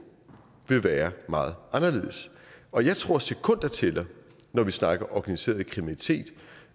vil være meget anderledes og jeg tror sekunder tæller når vi snakker organiseret kriminalitet